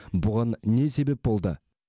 бұған не себеп болды